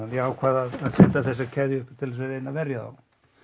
ég ákvað að setja upp þessa keðju til að verja þá